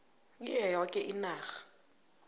kiyo yoke inarha